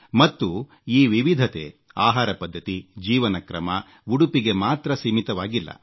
ಮತ್ತು ಈ ವಿವಿಧತೆ ಆಹಾರ ಪದ್ಧತಿ ಜೀವನ ಕ್ರಮ ಉಡುಪಿಗೆ ಮಾತ್ರ ಸೀಮಿತವಾಗಿಲ್ಲ